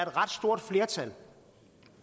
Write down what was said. ret stort flertal